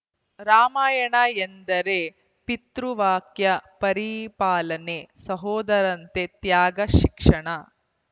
ರಾಮಾಯಣ ಎಂದರೆ ಪಿತೃವಾಕ್ಯ ಪರಿಪಾಲನೆ ಸಹೋದರಂತೆ ತ್ಯಾಗ ಶಿಕ್ಷಣ